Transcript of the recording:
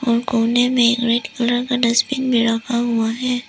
और कोने में रेड कलर का डस्टबिन भी रखा हुआ है।